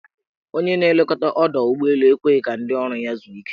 Onye na-elekọta ọdọụgbọelu ekweghi ka ndị ọrụ ya zuo ike.